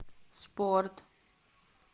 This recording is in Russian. спорт